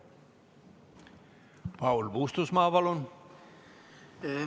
Paul Puustusmaa, palun!